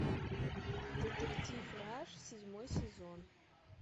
детектив раш седьмой сезон